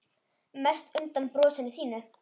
Mest undan brosinu þínu.